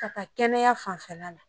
Ka taa kɛnɛya fanfɛla la